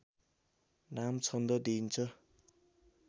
नाम छन्द दिइन्छ